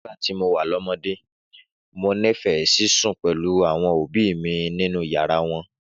Nígbà tí mo wà lọ́mọdé, mo nífẹ̀ẹ́ sí sùn pẹ̀lú àwọn òbí mi nínú yàrá wọn.